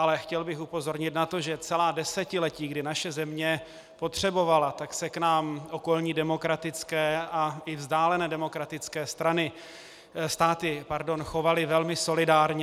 Ale chtěl bych upozornit na to, že celá desetiletí, kdy naše země potřebovala, tak se k nám okolní demokratické a i vzdálené demokratické státy chovaly velmi solidárně.